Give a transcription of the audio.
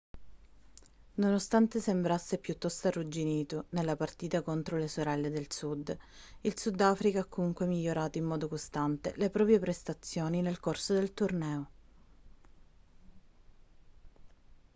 nonostante sembrasse piuttosto arrugginito nella partita contro le sorelle del sud il sudafrica ha comunque migliorato in modo costante le proprie prestazioni nel corso del torneo